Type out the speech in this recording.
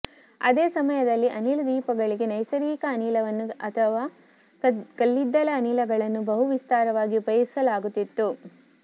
ಅದೇ ಸಮಯದಲ್ಲಿ ಅನಿಲ ದೀಪಗಳಿಗೆ ನೈಸರ್ಗಿಕ ಅನಿಲವನ್ನು ಅಥವಾ ಕಲ್ಲಿದ್ದಲ ಅನಿಲಗಳನ್ನು ಬಹು ವಿಸ್ತಾರವಾಗಿ ಉಪಯೋಗಿಸಲಾಗುತ್ತಿತ್ತು